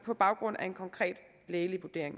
på baggrund af en konkret lægelig vurdering